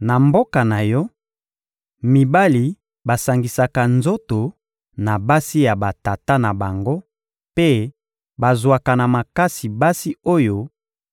Na mboka na yo, mibali basangisaka nzoto na basi ya batata na bango mpe bazwaka na makasi basi oyo